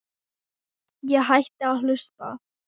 Ég hætti að hlusta.